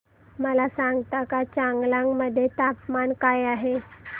मला सांगता का चांगलांग मध्ये तापमान काय आहे